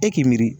E k'i miiri